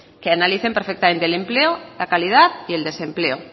que analicen perfectamente el empleo la calidad y el desempleo